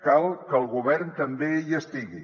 cal que el govern també hi estigui